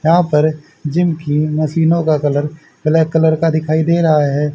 यहां पर जिम की मशीनों का कलर ब्लैक कलर का दिखाई दे रहा है।